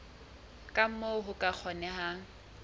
ka moo ho ka kgonehang